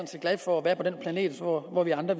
set glad for at være på den planet hvor hvor vi andre